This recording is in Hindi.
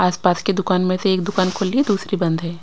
आस-पास के दुकान में से एक दुकान खोली दूसरी बंद है।